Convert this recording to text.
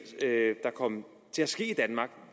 der kom